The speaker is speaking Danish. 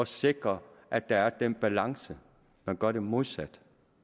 sikre at der er den balance man gør det modsatte